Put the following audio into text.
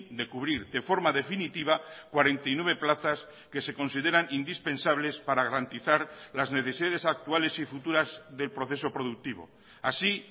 de cubrir de forma definitiva cuarenta y nueve plazas que se consideran indispensables para garantizar las necesidades actuales y futuras del proceso productivo así